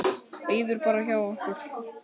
Bíður bara hjá okkur!